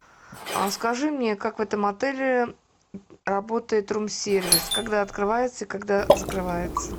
скажи мне как в этом отеле работает рум сервис когда открывается и когда закрывается